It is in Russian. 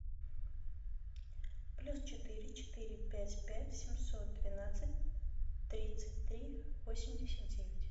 плюс четыре четыре пять пять семьсот двенадцать тридцать три восемьдесят девять